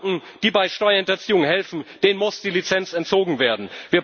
Banken, die bei Steuerhinterziehung helfen, muss die Lizenz entzogen werden.